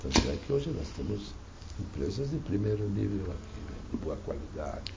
Tanto é que hoje nós temos empresas de primeiro nível aqui né, de boa qualidade.